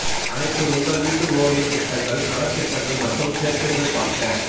அனைத்து உங்கள் வீட்டு ஓவியம் திட்டங்கள் கலர் திட்டங்கள் மற்றும் சேர்க்கைகள் பார்க்க